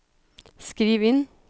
skriv inn